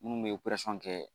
Minnu bɛ kɛ